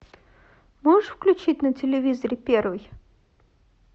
можешь включить на телевизоре первый